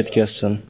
yetkazsin.